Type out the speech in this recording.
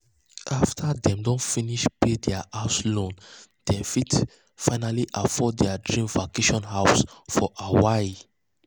after dem don finish pay um their house loan dem fit finally afford their dream vacation house for hawaii.